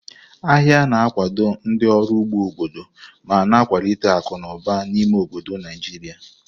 Ahịa na-akwado ndị ọrụ ugbo obodo ma na-ewulite akụ na ụba n'ime obodo Naijiria.